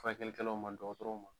Furakɛli kɛlaw ma dɔgɔtɔrɔnw ma.